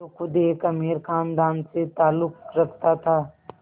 जो ख़ुद एक अमीर ख़ानदान से ताल्लुक़ रखता था